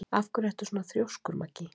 Af hverju ertu svona þrjóskur, Maggý?